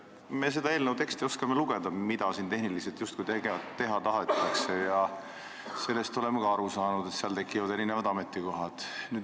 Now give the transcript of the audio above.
Me oskame sellest eelnõu tekstist välja lugeda, mida siis tehniliselt justkui teha tahetakse, ja sellest oleme ka aru saanud, et tekivad uued ametikohad.